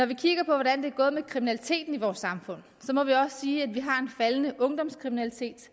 vi kigger på hvordan det er gået med kriminaliteten i vores samfund må vi også sige at vi har en faldende ungdomskriminalitet